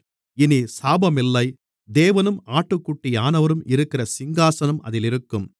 இனி சாபமில்லை தேவனும் ஆட்டுக்குட்டியானவரும் இருக்கிற சிங்காசனம் அதிலிருக்கும்